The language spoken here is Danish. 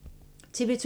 TV 2